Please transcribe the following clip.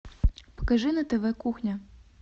покажи на тв кухня